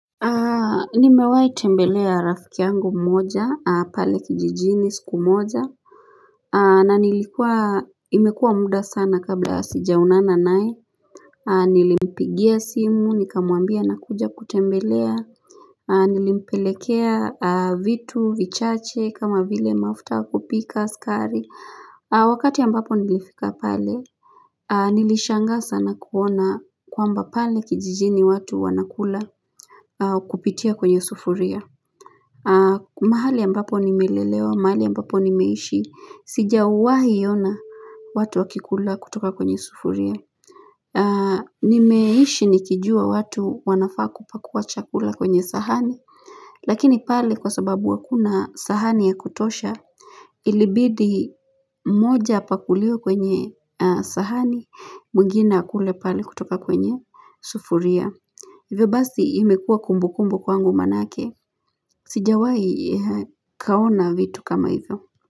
Nimewahi tembelea rafiki yangu mmoja pale kijijini siku moja na nilikuwa imekuwa muda sana kabla sijaonana naye Nilimpigia simu nikamwambia nakuja kutembelea Nilimpelekea vitu vichache kama vile mafuta ya kupika, sukari wakati ambapo nilifika pale Nilishangaa sana kuona kwamba pale kijijini watu wanakula kupitia kwenye sufuria. Mahali ambapo nimelelewa mahali ambapo nimeishi sijawahi ona watu wakikula kutoka kwenye sufuria nimeishi nikijua watu wanafaa kupakua chakula kwenye sahani lakini pale kwa sababu hakuna sahani ya kutosha ilibidi mmoja apakuliwe kwenye sahani mwingine akule pale kutoka kwenye sufuria Hivyo basi imekua kumbukumbu kwangu maanake Sijawahi kaona vitu kama hivyo.